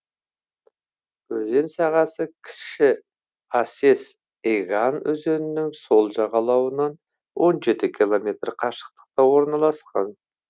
өзен сағасы кіші асес еган өзенінің сол жағалауынан он жеті километр қашықтықта орналасқан